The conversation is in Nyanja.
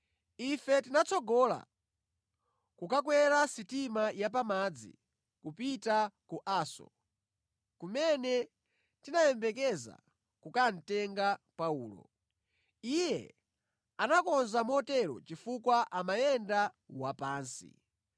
Ife tinatsogola kukakwera sitima ya pa madzi kupita ku Aso, kumene tinayembekeza kukatenga Paulo. Iye anakonza motero chifukwa amayenda wapansi.